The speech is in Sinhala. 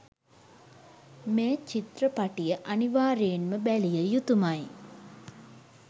මේ චිත්‍රපටිය අනිවාර්යයෙන්ම බැලිය යුතුමයි.